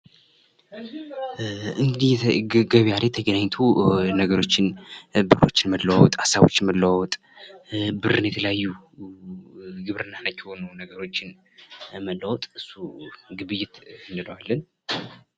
እንግዲህ ገበያ ላይ ተገናኝቶ ነገሮችን፣ ብሮችን መለዋወጥ፤ ሀሳቦች መለዋወጥ ብርና የተለያዩ ግብርና ነክ የሆኑ ነገሮችን መለዋወጥ እሱ ግብይት እንለዋለን።